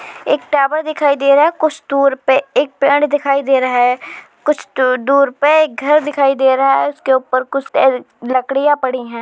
एक टावर दिखाई दे रहा है कुछ दूर पे एक पेड़ दिखाई दे रहा है कुछ दुर दूर पे एक घर दिखाई दे रहा है उसके ऊपर कुछ लकड़ियां पड़ी हैं।